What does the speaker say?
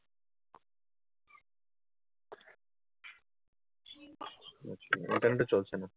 আচ্ছা। internet ও চলছে না?